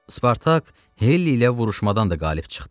Spartak Helli ilə vuruşmadan da qalib çıxdı.